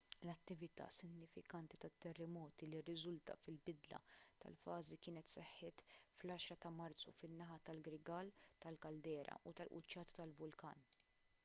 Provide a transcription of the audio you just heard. l-attività sinifikanti tat-terremoti li rriżultat fil-bidla tal-fażi kienet seħħet fl-10 ta' marzu fin-naħa tal-grigal tal-kaldera tal-quċċata tal-vulkan